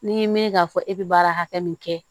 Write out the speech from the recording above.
N'i ye mɛn k'a fɔ e bɛ baara hakɛ min kɛ